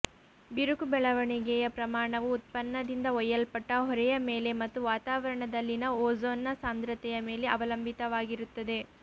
ಬಿರುಕು ಬೆಳವಣಿಗೆಯ ಪ್ರಮಾಣವು ಉತ್ಪನ್ನದಿಂದ ಒಯ್ಯಲ್ಪಟ್ಟ ಹೊರೆಯ ಮೇಲೆ ಮತ್ತು ವಾತಾವರಣದಲ್ಲಿನ ಓಝೋನ್ನ ಸಾಂದ್ರತೆಯ ಮೇಲೆ ಅವಲಂಬಿತವಾಗಿರುತ್ತದೆ